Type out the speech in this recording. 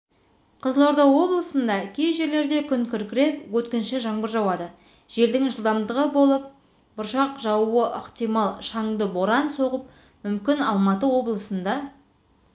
қызылорда облысында кей жерлерде күн күркіреп өткінші жаңбыр жауады желдің жылдамдығы болып бұршақ жаууы ықтимал шаңды боран соғы мүмкін алматы облысында